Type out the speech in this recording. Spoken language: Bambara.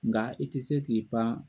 Nka i te se k'i pan